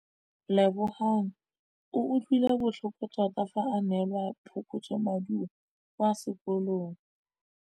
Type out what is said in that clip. Lebogang o utlwile botlhoko tota fa a neelwa phokotsômaduô kwa sekolong.